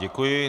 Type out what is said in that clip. Děkuji.